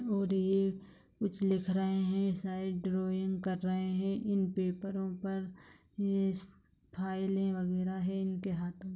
और ये कुछ लिख रहे हैं शायद ड्राइंग कर रहे है इन पेपरों पर ये फाइले वैगरह है इनके हाथ में।